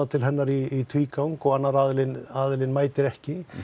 til hennar í tvígang og annar aðilinn aðilinn mætir ekki